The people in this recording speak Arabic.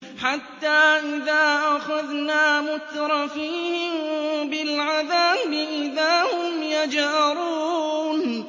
حَتَّىٰ إِذَا أَخَذْنَا مُتْرَفِيهِم بِالْعَذَابِ إِذَا هُمْ يَجْأَرُونَ